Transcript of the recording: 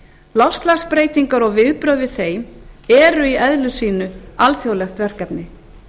loftslagsbreytingar og viðbrögð við þeim eru í eðli sínu alþjóðlegt verkefni